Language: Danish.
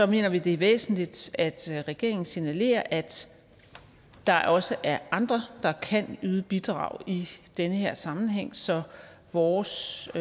mener vi det er væsentligt at regeringen signalerer at der også er andre der kan yde bidrag i den her sammenhæng så vores